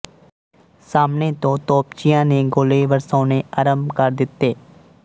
ਸਾਹਮਣੇ ਤੋਂ ਤੋਪਚੀਆਂ ਨੇ ਗੋਲੇ ਵਰਸਾਉਣੇ ਆਰੰਭ ਕਰ ਦਿੱਤੇ